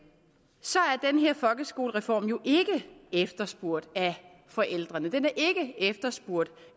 er folkeskolereform jo ikke efterspurgt af forældrene den er ikke efterspurgt